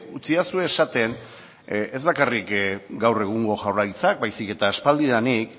utzidazue esaten ez bakarrik gaur egungo jaurlaritzak baizik eta aspalditik